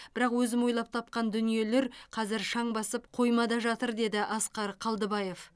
бірақ өзім ойлап тапқан дүниелер қазір шаң басып қоймада жатыр деді асқар қалдыбаев